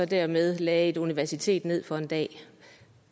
dermed lagde et universitet ned for en dag